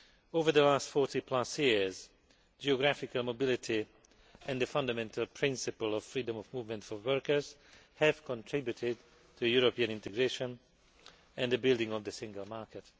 Over the last 40 plus years, geographical mobility and the fundamental principle of freedom of movement for workers have contributed to European integration and the building of the Single Market.